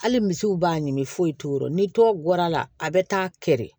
Hali misiw b'a ɲimi foyi t'o rɔ ni dɔw guɔr'a la a bɛ taa kɛ de